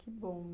Que bom.